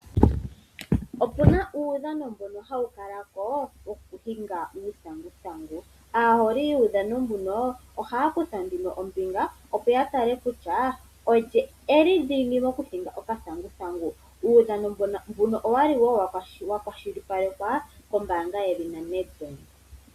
Opuna uudhano mbono hawu kalako wokuhinga uuthanguthangu, aaholi yuudhano mbuno ohaya kutha nduno ombinga opo ya tale kutya olye eli dhingi mokuhinga okathanguthangu. Uudhano mbuno owali wo wakwashilipalekwa kombaanga yedhina Nedbank.